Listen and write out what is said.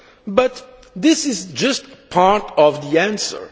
But this is just part of the answer.